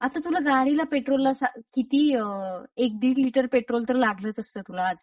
आता तुला गाडीला पेट्रोलला सांग किती अ.. एक दीड लिटर पेट्रोल तर लागलच असत तुला आज.